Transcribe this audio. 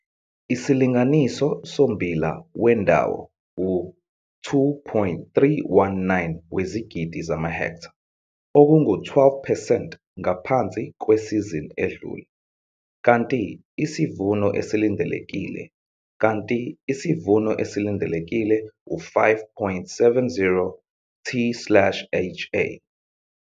Isilinganiso sommbila wendawo u-2, 319 wezigidi zamahektha, okungu-12 percent ngaphansi kwesizini edlule, kanti isivuno esilindelekile, kanti isivuno esilindelekile u-5,70 t slash ha.